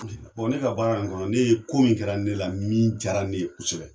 Bon ne ka baara in kɔnɔ ne ye, ko min kɛra ne la min jara ne ye kosɛbɛ